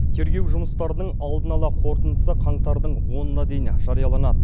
тергеу жұмыстарының алдын ала қорытындысы қаңтардың онына дейін жарияланады